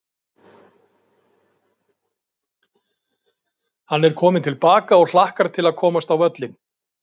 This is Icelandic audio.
Hann er kominn til baka og hlakkar til að komast á völlinn.